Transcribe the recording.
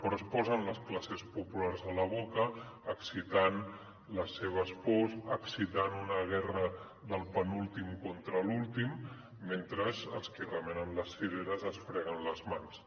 però es posen les classes populars a la boca excitant les seves pors excitant una guerra del penúltim contra l’últim mentre els qui remenen les cireres es freguen les mans